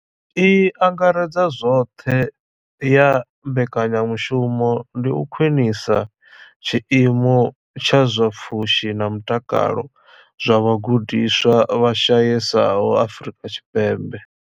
I angaredzaho zwoṱhe ya mbekanyamushumo ndi u khwinisa tshiimo tsha zwa pfushi na mutakalo zwa vhagudiswa vha shayesaho Afrika Tshipembe.